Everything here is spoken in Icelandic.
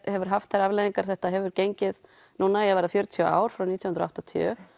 hefur haft þær afleiðingar þetta hefur gengið núna í að verða fjörutíu ár frá nítján hundruð og áttatíu